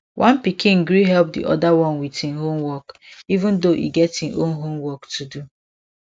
one pikin gree help the other one with im homework even though e get im own homework to do